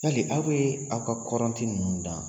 Yali aw bɛ aw ka kɔrɔnti ninnu dan